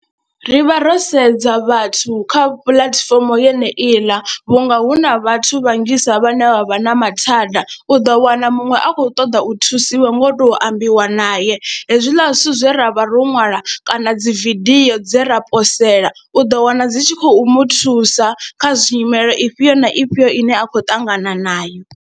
Ri vha ro sedza vhathu kha puḽatifomo yeneiḽa vhunga hu na vhathu vhanzhisa vhane vha vha na mathada, u ḓo wana muṅwe a khou ṱoḓa u thusiwa nga u tou ambiwa naye hezwiḽa zwithu zwe ra vha ro ṅwala kana dzi vidio dze ra posela u ḓo wana dzi tshi khou muthusa kha zwi nyimele ifhio na ifhio ine a khou ṱangana nayo.